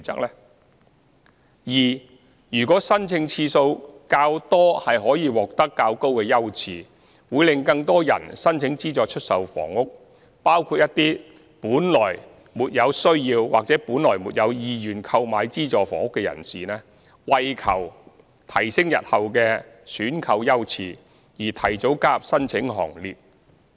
b 如果申請次數較多可提高優次，會令更多人申請資助出售房屋，包括一些本來比較沒有需要或沒有意願購買資助房屋的人士，會為求提升日後的選購優次而提早加入申請行列。